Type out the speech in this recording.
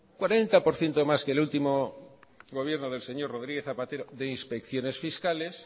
cuarenta por ciento más que último que el último gobierno del señor rodríguez zapatero de inspecciones fiscales